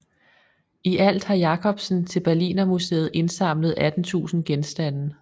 I alt har Jacobsen til Berlinermuseet indsamlet 18000 genstande